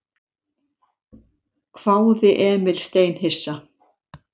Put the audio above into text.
hváði Emil steinhissa.